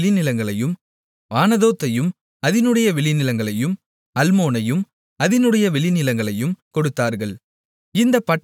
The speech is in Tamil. ஆனதோத்தையும் அதினுடைய வெளிநிலங்களையும் அல்மோனையும் அதினுடைய வெளிநிலங்களையும் கொடுத்தார்கள் இந்தப் பட்டணங்கள் நான்கு